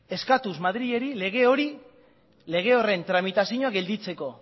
eskatuz madrili lege hori lege horren tramitazioa geratzeko